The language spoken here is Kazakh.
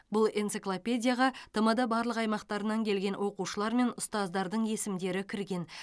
бұл энциклопедияға тмд барлық аймақтарынан келген оқушылар мен ұстаздардың есімдері кірген